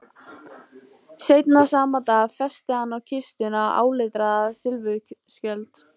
Seinna sama dag festi hann á kistuna áletraðan silfurskjöld.